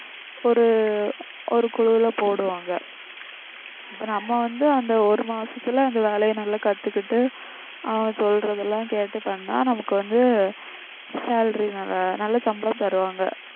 ஒரு ஒரு குழுவுல போடுவாங்க இப்ப நம்ம வந்து அந்த ஒரு மாசத்துல அந்த வேலையை நல்லா கத்துக்கிட்டு அவங்க சொல்றதெல்லாம் கேட்டு பண்ணா நமக்கு வந்து salary நல்ல நல்ல சம்பளம் தருவாங்க